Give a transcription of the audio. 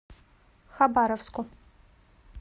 хабаровску